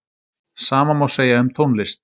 sama má segja um tónlist